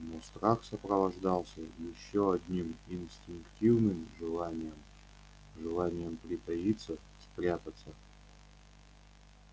но страх сопровождался ещё одним инстинктивным желанием желанием притаиться спрятаться